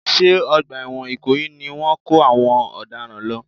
Ṣé ọgbà ẹ̀wọ̀n ìkòyí ni wọ́n ń kó àwọn ọ̀daràn lọ?